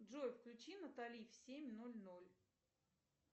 джой включи натали в семь ноль ноль